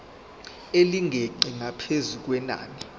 elingeqi ngaphezu kwenani